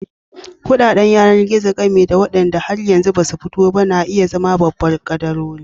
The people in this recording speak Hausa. Kuɗaɗen yanar-gizo, gami da waɗanda har yanzu ba su fito ba, na iya zama babban kadarorin.